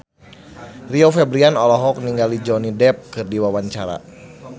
Rio Febrian olohok ningali Johnny Depp keur diwawancara